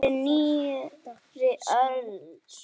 Fyrir nýrri öld!